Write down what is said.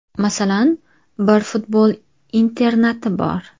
Masalan, bir futbol internati bor.